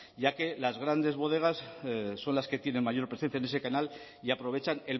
ya que las grandes bodegas son las que tienen mayor presencia en ese canal y aprovechan